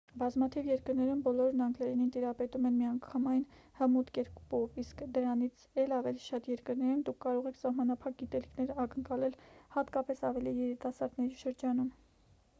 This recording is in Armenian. բազմաթիվ երկրներում բոլորն անգլերենին տիրապետում են միանգամայն հմուտ կերպով իսկ դրանից էլ ավելի շատ երկրներում դուք կարող եք սահմանափակ գիտելիքներ ակնկալել հատկապես ավելի երիտասարդների շրջանում